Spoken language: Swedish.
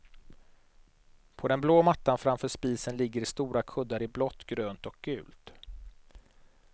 På den blå mattan framför spisen ligger stora kuddar i blått, grönt och gult.